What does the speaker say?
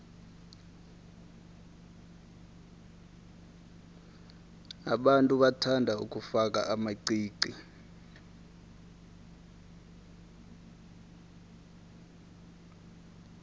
abantu bathanda ukufaka amaqiqi